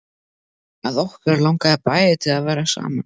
Að okkur langaði bæði til að vera saman.